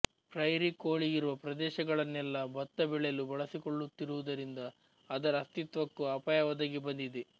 prairie ಕೋಳಿಯಿರುವ ಪ್ರದೇಶಗಳನ್ನೆಲ್ಲ ಬತ್ತ ಬೆಳೆಯಲು ಬಳಸಿಕೊಳ್ಳುತ್ತಿರುವುದರಿಂದ ಅದರ ಅಸ್ತಿತ್ವಕ್ಕೂ ಅಪಾಯ ಒದಗಿ ಬಂದಿದೆ